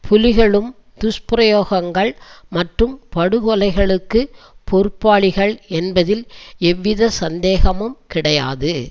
புலிகளும் துஷ்பிரயகோங்கள் மற்றும் படுகொலைகளுக்கு பொறுப்பாளிகள் என்பதில் எவ்வித சந்தேகமும் கிடையாது